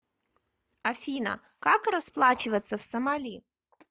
афина как расплачиваться в сомали